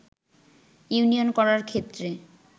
union করার ক্ষেত্রে